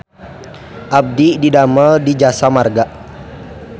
Abdi didamel di Jasa Marga